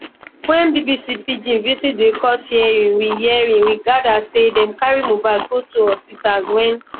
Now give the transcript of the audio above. wen bbc pidgin visit di court hearing we hearing we gada say dem carry mohbad go two hospitals wen